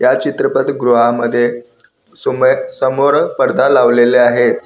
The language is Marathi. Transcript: या चित्रपटगृहामध्ये समो समोर पडदा लावलेले आहे.